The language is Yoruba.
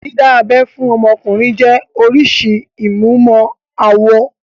Dídá abẹ́ fún ọmọkùnrin jẹ́ oríṣìí ìmúmọ-awọ.